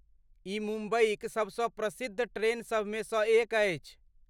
ई मुम्बईक सबसँ प्रसिद्ध ट्रेनसभमे सँ एक अछि।